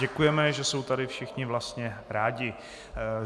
Děkujeme, že jsou tady všichni vlastně rádi.